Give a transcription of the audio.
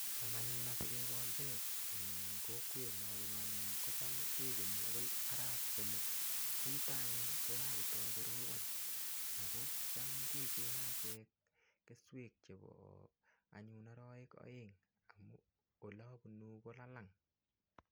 Cham anyun asikekol peek eng' kokwet nabunu ane ko cham kekenyi akoi arap somok ko yuto anyun kokakotoi korobon ako cham kecheng'e achek keswek chebo anyun oroek oeng' amu ole abunu kolalang'